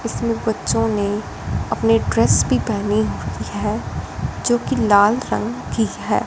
इसमें बच्चों ने अपनी ड्रेस भी पहनी हुई है जोकि लाल रंग की है।